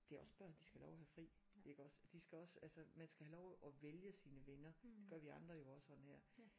Det er også børn de skal have lov til at have fri iggås de skal også altså man skal have lov at vælge sine venner det gør vi jo også og nær